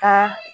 Ka